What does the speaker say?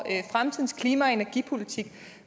fremtidens klima og energipolitik